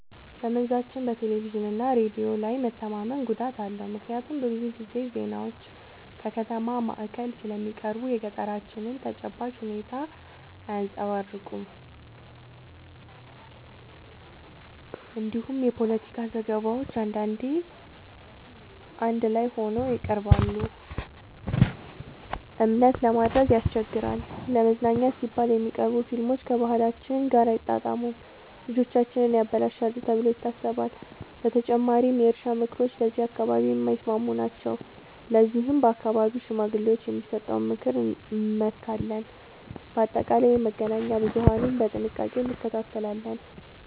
በመንዛችን በቴሌቪዥንና ሬዲዮ ላይ መተማመን ጉዳት አለው፤ ምክንያቱም ብዙ ጊዜ ዜናዎች ከከተማ ማዕከል ስለሚቀርቡ የገጠራችንን ተጨባጭ ሁኔታ አያንጸባርቁም። እንዲሁም የፖለቲካ ዘገባዎች አንዳንዴ አዳላይ ሆነው ይቀርባሉ፤ እምነት ለማድረግ ያስቸግራል። ለመዝናኛ ሲባል የሚቀርቡ ፊልሞች ከባህላችን ጋር አይጣጣሙም፣ ልጆቻችንን ያበላሻሉ ተብሎ ይታሰባል። በተጨማሪም የእርሻ ምክሮች ለዚህ አካባቢ የማይስማሙ ናቸው፤ ለዚህም በአካባቢው ሽማግሌዎች የሚሰጠውን ምክር እንመካለን። በአጠቃላይ የመገናኛ ብዙሀንን በጥንቃቄ እንከታተላለን።